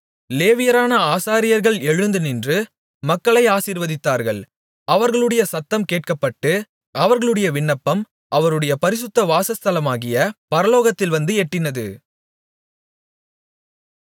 லேவியரான ஆசாரியர்கள் எழுந்து நின்று மக்களை ஆசீர்வதித்தார்கள் அவர்களுடைய சத்தம் கேட்கப்பட்டு அவர்களுடைய விண்ணப்பம் அவருடைய பரிசுத்த வாசஸ்தலமாகிய பரலோகத்தில் வந்து எட்டினது